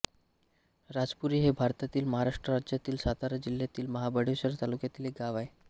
राजपुरी हे भारतातील महाराष्ट्र राज्यातील सातारा जिल्ह्यातील महाबळेश्वर तालुक्यातील एक गाव आहे